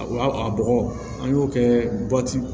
A bɔgɔ an y'o kɛ